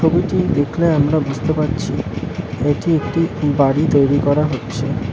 ছবিটি দেখলে আমরা বুঝতে পারছি এটি একটি বাড়ি তৈরি করা হচ্ছে।